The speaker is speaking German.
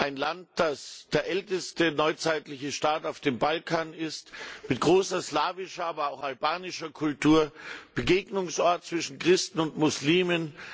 Ein Land, das der älteste neuzeitliche Staat auf dem Balkan ist, mit großer slawischer, aber auch albanischer Kultur, ein Begegnungsort zwischen Christen und Muslimen.